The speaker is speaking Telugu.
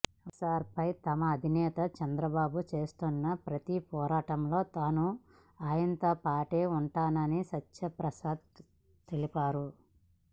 వైఎస్సార్సీపీపై తమ అధినేత చంద్రబాబు చేస్తున్న ప్రతి పోరాటంలో తాను ఆయనతోపాటే ఉంటున్నానని సత్యప్రసాద్ తెలిపారు